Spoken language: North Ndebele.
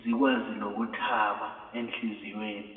zikwazilokuthaba enhliziyweni